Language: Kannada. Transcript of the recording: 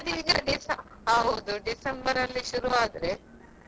ಅದು ಅಲ್ಲಿ December ಅಲ್ಲಿ?